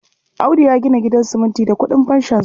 Audu ya gina gidan siminti da ƙudin fanshonsa.